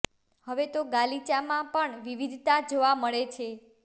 હવે તો ગાલીચામાં પણ વિવિધતા જોવા મળે છે